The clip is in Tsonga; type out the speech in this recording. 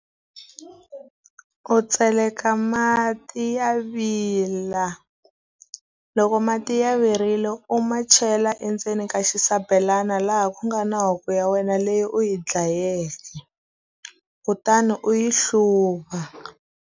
U tseleka mati ya vila. Loko mati ya virile u ma chela endzeni ka xisabelana laha ku nga na huku ya wena leyi u yi dlayeke, kutani u yi hluva.